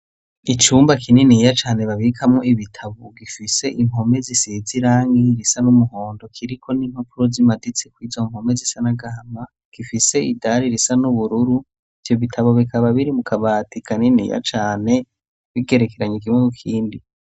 Icumba kininiya cane babikamwo ibitabo, gifise impome zisize irangi risa n'umuhondo, kiriko n'impapuro zimaditse kw'izo mpome zisa n'agahama, zifise ibara isa n'ubururu, ivyo bitabo bikaba biri mu kabati kaniniya cane, bigerekeranye kimwe ku kindi.